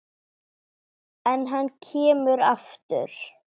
En hann kemur aftur.